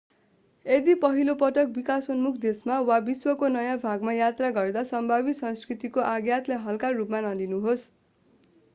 यदि पहिलो पटक विकासोन्मुख देशमा वा विश्वको नयाँ भागमा यात्रा गर्दा सम्भावित संस्कृतिको आघातलाई हल्का रुपमा नलिनुहोस्